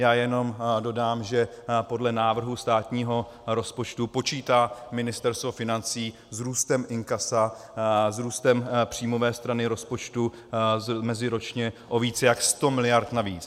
Já jenom dodám, že podle návrhu státního rozpočtu počítá Ministerstvo financí s růstem inkasa, s růstem příjmové strany rozpočtu meziročně o více než 100 miliard navíc.